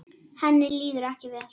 Henni líður ekki vel.